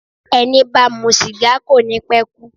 Ẹni bá ń mu sìgá kò ní pe kú.